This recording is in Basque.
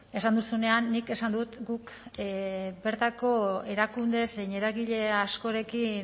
esan duzunean nik esan dut guk bertako erakunde zein eragile askorekin